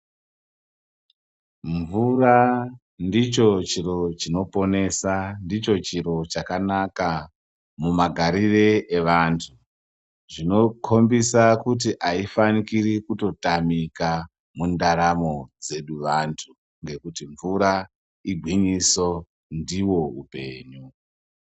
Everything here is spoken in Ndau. Mvura ndicho chiro chinoponesa. Ndicho chiro chakanaka mumagarire evantu. Zvinokhombisa kuti aifanikiri kutotamika mundaramo dzedu vantu, ngekuti mvura igwinyiso, ndiwo upenyu.